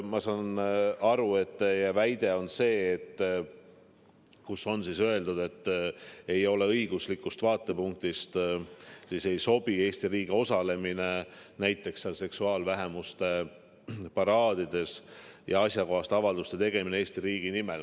Ma saan aru, et teie väide on see, et kus on siis öeldud, et õiguslikust vaatepunktist ei sobi Eesti riigi osalemine näiteks seksuaalvähemuste paraadidel või asjakohaste avalduste tegemine Eesti riigi nimel.